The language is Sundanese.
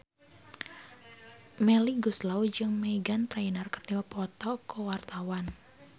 Melly Goeslaw jeung Meghan Trainor keur dipoto ku wartawan